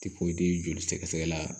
joli sɛgɛ sɛgɛla